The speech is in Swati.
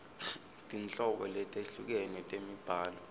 tinhlobo letehlukene temibhalo